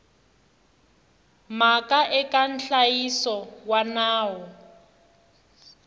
mhaka eka nhlayiso wa nawu